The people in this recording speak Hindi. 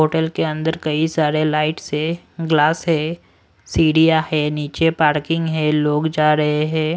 होटल के अंदर कई सारे लाइट्स है ग्लास है सीढ़ियां है नीचे पार्किंग है लोग जा रहे है।